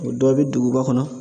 O dɔ bɛ duguba kɔnɔ